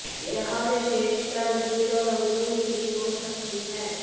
यह विशेषता अंजीर और अंगूर की भी हो सकती है